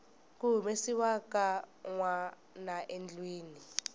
ku humesiwa ka nwanaendlwini